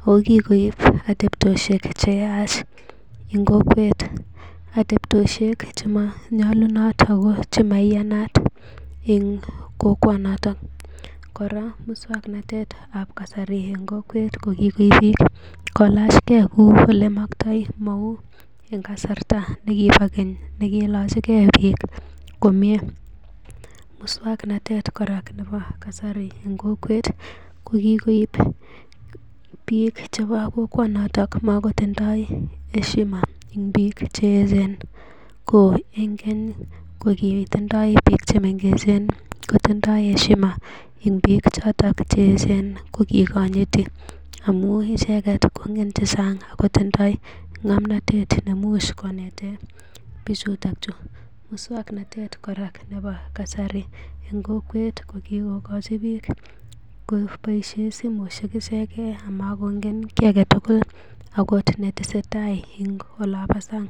ago kigoib atebosiek che yach en kokwet. Atebosiek che manyolunot ago chemaiyanat en kokwonoto. Kora moswoknatet ab kasari en kokwet ko kigoib biiik kolachge kou olemokto mou en kasarta nekibo keny nekiilache ge biik komye. Muswognatet nebo kasari kora en kokwet kogikoib biik chebo kokwonoto mogotindoi heshima v en biik che eechen. Ko en keny kogitindoi biik chemengechen kotindoi heshima en biik choto che eechen kogikonyiti amun icheget kongen che chang ago tindo ng'amnatet neimuch konete bichuto chu. Muswoknatet kora nebo kasari en kokwet kogikogochi biik en kokwet koboisie simoisiek ichegen amakongen kiy age tugul agot netesetai en olonbo sang.